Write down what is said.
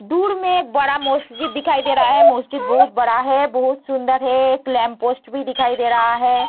दूर में एक बड़ा मस्जिद दिखाई दे रहा है मस्जिद बहुत बड़ा है बहुत सुंदर है एक लैंप पोस्ट भी दिखाई दे रहा है।